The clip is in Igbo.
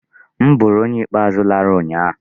M bụrụ onye ikpeazụ lara ụnyịa.